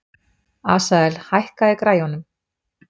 Asael, hækkaðu í græjunum.